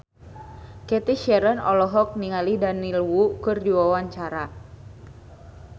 Cathy Sharon olohok ningali Daniel Wu keur diwawancara